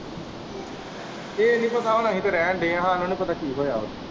ਇਹ ਨਹੀਂ ਪਤਾ ਹੁਣ ਅਸੀਂ ਤੇ ਰਹਿਣ ਦੇ ਹੈ ਸਾਨੂੰ ਨਹੀਂ ਪਤਾ ਕੀ ਹੋਇਆ ਹੈ?